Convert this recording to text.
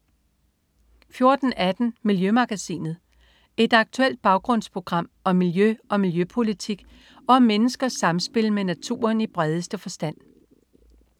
14.18 Miljømagasinet. Et aktuelt baggrundsprogram om miljø og miljøpolitik og om menneskers samspil med naturen i bredeste forstand